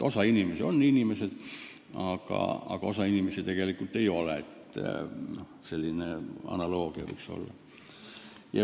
Osa inimesi on inimesed, aga osa inimesi tegelikult ei ole – selline analoogia võiks olla.